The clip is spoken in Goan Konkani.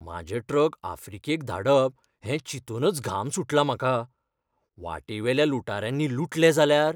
म्हाजे ट्रक आफ्रिकेक धाडप हें चिंतूनच घाम सुटला म्हाका. वाटेवेल्या लुटाऱ्यांनी लुटले जाल्यार?